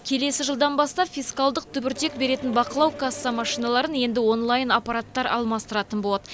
келесі жылдан бастап фискалдық түбіртек беретін бақылау касса машиналарын енді онлайн аппараттар алмастыратын болады